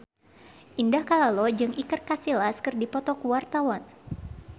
Indah Kalalo jeung Iker Casillas keur dipoto ku wartawan